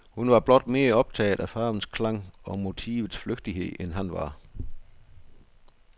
Hun var blot mere optaget af farvens klang og motivets flygtighed end han var.